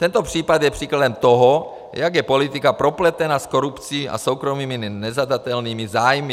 Tento případ je příkladem toho, jak je politika propletena s korupcí a soukromými nezadatelnými zájmy.